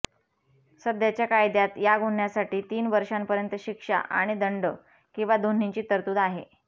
सध्याच्या कायद्यात या गुन्ह्यासाठी तीन वर्षांपर्यंत शिक्षा आणि दंड किंवा दोन्हींची तरतूद आहे